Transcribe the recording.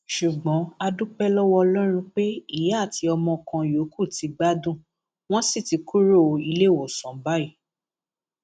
ṣùgbọn a dúpẹ lọwọ ọlọrun pé ìyá àti ọmọ kan yòókù ti gbádùn wọn sì ti kúrò iléèwọsán báyìí